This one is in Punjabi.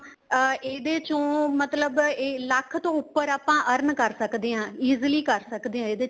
ਅਹ ਇਹਦੇ ਚੋ ਮਤਲਬ ਲੱਖ ਤੋ ਉੱਪਰ ਆਪਾਂ earn ਕਰ ਸਕਦੇ ਹਾਂ easily ਕਰ ਸਕਦੇ ਹਾਂ ਇਹਦੇ ਚ